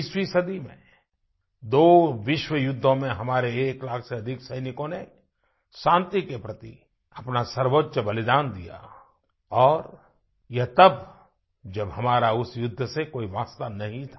20वीं सदी में दो विश्वयुद्धों में हमारे एक लाख से अधिक सैनिकों ने शांति के प्रति अपना सर्वोच्च बलिदान दिया और यह तब जब हमारा उस युद्ध से कोई वास्ता नहीं था